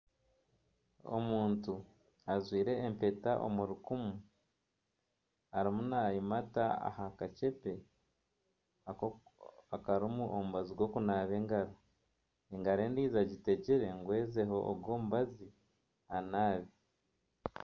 Omuntu ajwaire empeta omu rukumu arimu nayimata aha kaceepe akarimu omubazi gw'okunaba engaro, engaro endijo egitegire ngu ezeeho ogu omubazi anaabe.